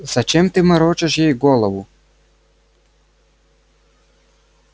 зачем ты морочишь ей голову